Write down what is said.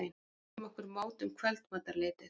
Við mæltum okkur mót um kvöldmatarleytið.